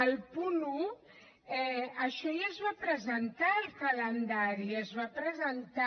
el punt un això ja es va presentar al calendari es va presentar